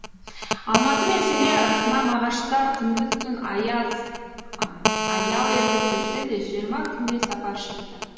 алматы мен семей арасына мағаштар күндіз түн аз аял етіп жүрсе де жиырма күндей сапар шекті